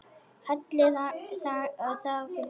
Halli þagði.